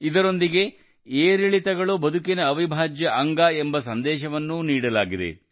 ಇದರೊಂದಿಗೆ ಏರಿಳಿತಗಳು ಬದುಕಿನ ಅವಿಭಾಜ್ಯ ಅಂಗ ಎಂಬ ಸಂದೇಶವನ್ನೂ ನೀಡಲಾಗಿದೆ